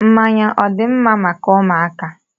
Mmanya ọ dị mma maka ụmụaka?